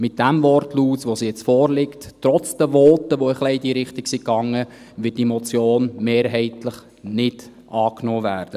Mit dem jetzt vorliegenden Wortlaut trotz der Voten, die in dieselbe Richtung gingen, wird diese Motion von der glp mehrheitlich nicht angenommen werden.